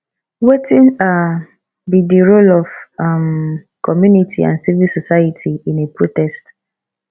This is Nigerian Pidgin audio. wetin be um di role of um community and civil society in a protest